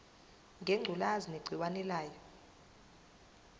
ngengculazi negciwane layo